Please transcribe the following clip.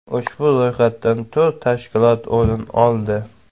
Ushbu ro‘yxatdan to‘rt tashkilot o‘rin oldi.